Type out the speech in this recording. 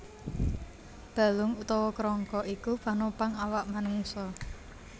Balung utawa kerangka iku panopang awak manungsa